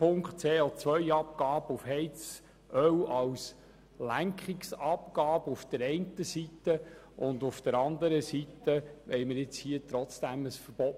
Die CO-Abgabe auf Heizöl als Lenkungsabgabe auf der einen Seite und auf der anderen Seite hier das Verbot: